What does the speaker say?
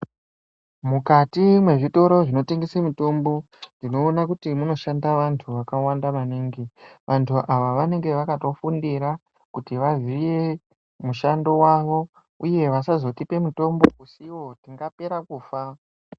Mukati mwe zvitoro zvino tengese mitombo tino ona kuti munoshanda vantu vakawanda maningi vantu ava vanenge vakato fundira kuti vaziye mushando wawo uye vasazo tipe mutombo usiwo tinga pere kufa.